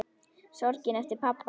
Sorgin eftir pabba.